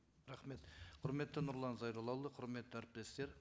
рахмет құрметті нұрлан зайроллаұлы құрметті әріптестер